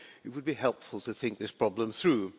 It would be helpful to think this problem through.